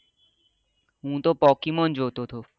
હું તો પોકીમોન જોતો છો